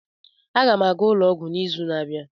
Aga m aga ụlọ ọgwụ n'izu na-abịa.